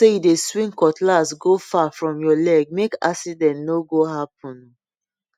make sure say you dey swing cutlass go far from your leg make accident no go happen